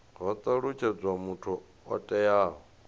ho talutshedzwa muthu o itaho